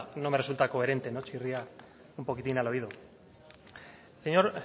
no me resulta coherente chirría un poquitín al oído